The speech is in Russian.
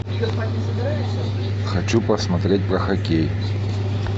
хочу посмотреть про хоккей